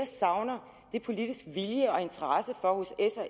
savner er politisk vilje og interesse for hos